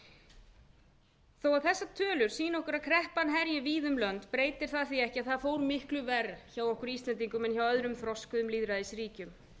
okkur að kreppan herji víða um lönd breytir það því ekki að það fór miklu verr hjá okkur íslendingum en hjá öðrum þroskuðum lýðræðisríkjum